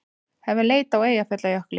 Hefja leit á Eyjafjallajökli